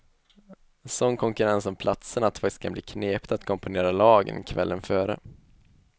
Sån konkurrens om platserna att det faktiskt kan bli knepigt att komponera lagen kvällen före.